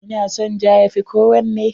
Ina son ja, ya fi kowanne.